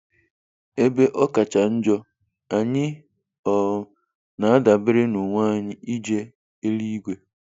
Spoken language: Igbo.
Ebe ọ kacha njọ, anyị um na-adabere n'onwe anyị ije eluigwe